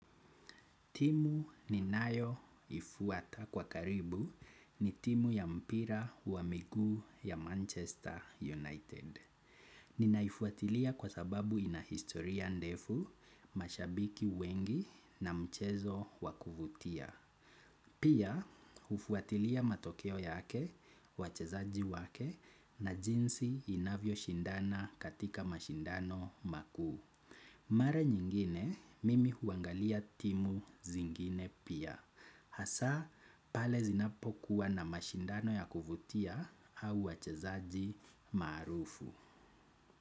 Timu ni nayo ifuata kwa karibu ni timu ya mpira wa migu ya Manchester United. Ninaifuatilia kwa sababu ya historia ndefu mashabiki wengi na mchezo wa kufutia. Pia, ufuatilia matokeo yake, wachezaji wake na jinsi inavyo shindana katika mashindano maku. Mara nyingine mimi huangalia timu zingine pia. Hasa pale zinapokuwa na mashindano ya kuvutia au wachazaji marufu.